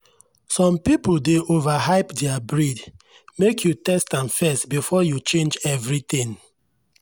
some people dey overhype their breed—make you test am first before you change everything.